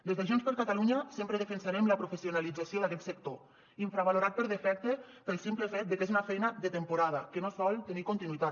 des de junts per catalunya sempre defensarem la professionalització d’aquest sector infravalorat per defecte pel simple fet de que és una feina de temporada que no sol tenir continuïtat